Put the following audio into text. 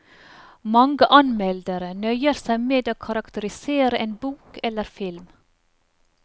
Mange anmeldere nøyer seg med å karakterisere en bok eller film.